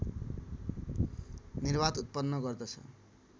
निर्वात उत्पन्न गर्दछ